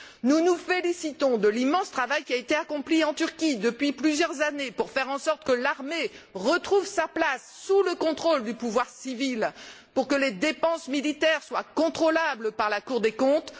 Nous nous félicitons de l'immense travail qui a été accompli en Turquie depuis plusieurs années pour faire en sorte que l'armée retrouve sa place, sous le contrôle du pouvoir civil, et pour que les dépenses militaires soient contrôlables par la Cour des comptes.